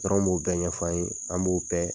Tɔrɔn b'o bɛɛ ɲɛfɔ an ye, an b'o bɛɛ